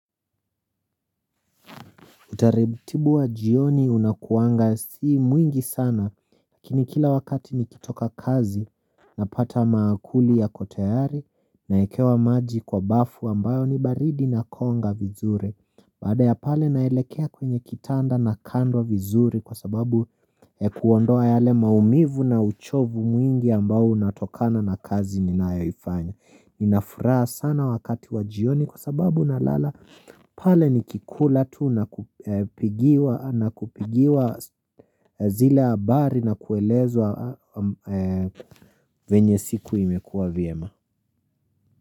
Utaributibu wa jioni unakuwanga sii mwingi sana lakini kila wakati nikitoka kazi napata maakuli yako tayari na ekewa maji kwa bafu ambayo ni baridi na konga vizuri Baada ya pale naelekea kwenye kitanda nakandwa vizuri kwa sababu ya kuondoa yale maumivu na uchovu mwingi ambao unatokana na kazi ninayoifanya ninafuraha sana wakati wa jioni kwa sababu na lala pale ni kikula tu na kupigiwa zile habari na kuelezwa venye siku imekua vyema.